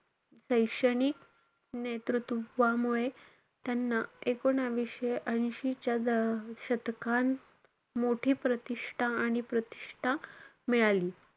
शैक्षणिक नेतृत्वामुळे त्यांना, एकोणवीसशे ऐंशीच्या द~ शतकात मोठी प्रतिष्ठा आणि प्रतिष्ठा मिळाली.